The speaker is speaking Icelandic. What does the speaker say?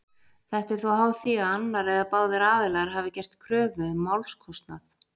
Þetta er þó háð því að annar eða báðir aðilar hafi gert kröfu um málskostnað.